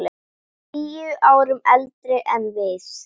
Tíu árum eldri en við.